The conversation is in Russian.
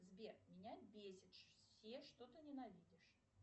сбер меня бесит все что ты ненавидишь